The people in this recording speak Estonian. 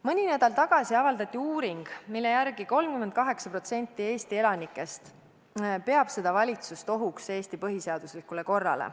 Mõni nädal tagasi avaldati uuring, mille järgi 38% Eesti elanikest peab seda valitsust ohuks Eesti põhiseaduslikule korrale.